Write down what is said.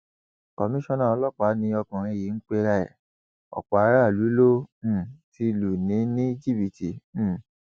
komisanna ọlọpàá ni ọkùnrin yìí ń pera ẹ ọpọ aráàlú ló um ti lù ní ní jìbìtì um